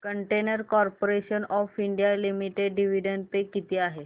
container corporation of India limited dividend pay किती आहे